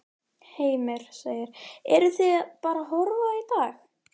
Heimir: Eruð þið bara að horfa á í dag?